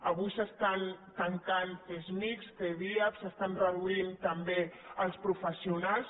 avui s’estan tan·cant csmij cdiap s’estan reduint també els pro·fessionals